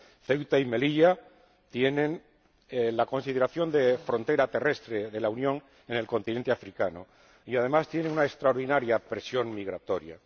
Ceuta y Melilla tienen la consideración de frontera terrestre de la Unión en el continente africano y, además, tienen una extraordinaria presión migratoria.